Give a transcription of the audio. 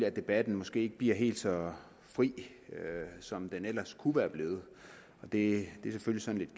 at debatten måske ikke bliver helt så fri som den ellers kunne være blevet og det er selvfølgelig